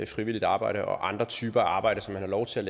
frivilligt arbejde og andre typer arbejde som man har lov til at